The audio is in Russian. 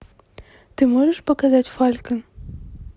ты можешь показать фалькон